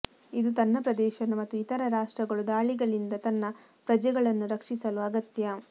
ಇದು ತನ್ನ ಪ್ರದೇಶವನ್ನು ಮತ್ತು ಇತರೆ ರಾಷ್ಟ್ರಗಳು ದಾಳಿಗಳಿಂದ ತನ್ನ ಪ್ರಜೆಗಳನ್ನು ರಕ್ಷಿಸಲು ಅಗತ್ಯ